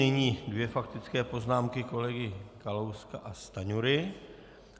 Nyní dvě faktické poznámky, kolegy Kalouska a Stanjury.